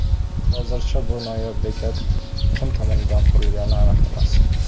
Hozircha bu noyob bekat kim tomonidan qurilgani aniq emas.